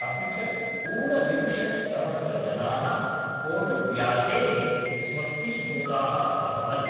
अपि च, ऊनविंशति सहस्रजना: कोविड्व्याधेः स्वस्थीभूताः अभवन्।